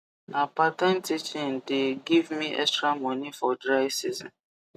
na part time teaching the give me extra moni for dry season